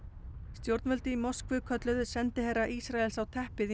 stjórnvöld í Moskvu kölluðu sendiherra Ísraels á teppið í